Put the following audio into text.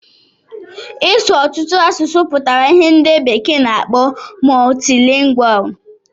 Ị su ọtụtụ asụsụ pụtara ìhè ndị bekee na-akpọ multilingual.